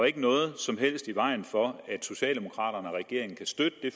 ikke noget som helst i vejen for at socialdemokraterne og regeringen kan støtte det